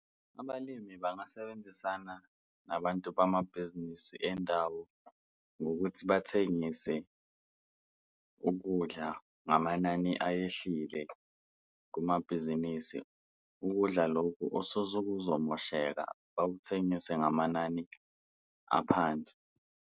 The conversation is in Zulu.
Abalimi bangasebenzisana nabantu bamabhizinisi endawo ngokuthi bathengise ukudla ngamanani ayehlile kumabhizinisi, ukudla lokhu sekuzomosheka bakuthengise ngamanani aphansi.